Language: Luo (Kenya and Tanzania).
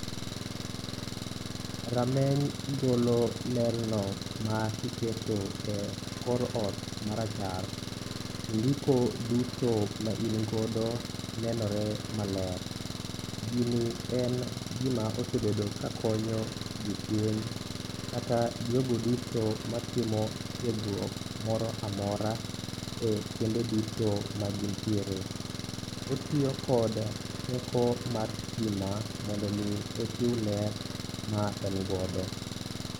Rameny golo ler no ma kiketo e kor ot ma rachar to ndiko duto ma in godo nenore maler. Gini en gima osebedo ka konyo jopuonj, kata jogo duto matimo tiegruok moro amora e kuonde duto ma gintiere. Otiyo kod teko mar stima mondo omi ochiw ler ma engodo.